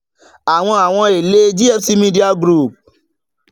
àwọn àwọn ẹlé gfc media group